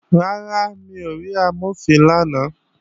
Rárá, mi ò rí Amọ̀fin lánàá